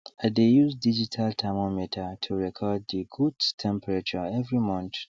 i dey use digital thermometer to record the goats temperature every month